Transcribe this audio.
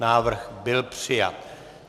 Návrh byl přijat.